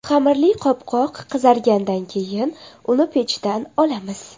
Xamirli qopqoq qizargandan keyin uni pechdan olamiz.